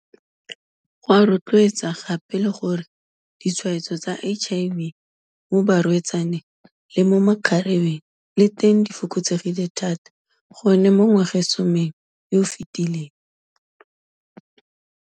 Go a rotloetsa gape le gore di-tshwaetso tsa HIV mo barwe-tsaneng le mo makgarebeng le teng di fokotsegile thata go ne mo ngwagasomeng yo o fetileng.